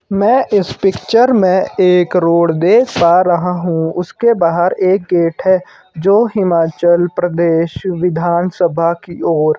मैं इस पिक्चर में एक रोड देख पा रहा हूं उसके बाहर एक गेट है जो हिमाचल प्रदेश विधान सभा की ओर--